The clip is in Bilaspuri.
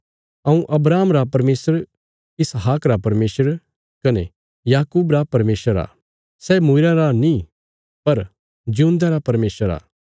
हऊँ अब्राहम रा परमेशर इसहाक रा परमेशर कने याकूब रा परमेशर आ सै मूईरयां रा नीं पर जिऊंदेयां रा परमेशर आ